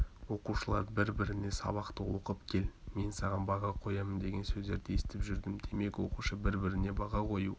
оқушылар бір-біріне сабақты оқып кел мен саған баға қоямын деген сөздерді естіп жүрдім демек оқушы бір-біріне баға қою